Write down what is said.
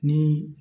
Ni